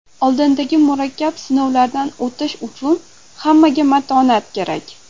Oldindagi murakkab sinovlardan o‘tish uchun hammaga matonat kerak.